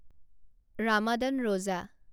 ৰামাদান ৰোজা